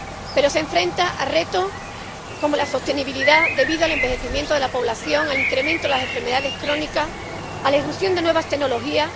Pero se enfrentan a retos, como la sostenibilidad, debido al envejecimiento de la población, al incremento de las enfermedades crónicas, a la irrupción de nuevas tecnologías.